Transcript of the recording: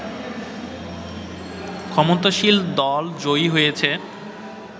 ক্ষমতাসীন দল জয়ী হয়েছে